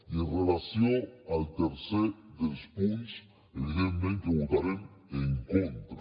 i amb relació al tercer dels punts evidentment que votarem en contra